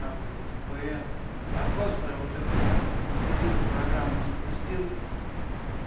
там или впн а просто вот эту утилиту программу запустил